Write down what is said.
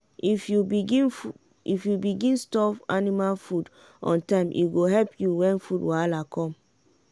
if you begin store anima food on time e go help you wen food wahala com.